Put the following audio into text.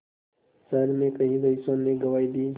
शहर में कई रईसों ने गवाही दी